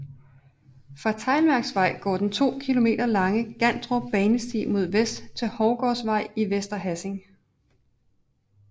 Fra Teglværksvej går den 2 km lange Gandrup Banesti mod vest til Hovgårdsvej i Vester Hassing